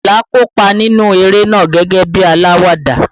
Ayinla kópa nínú eré náà gẹ́gẹ́ bí alawada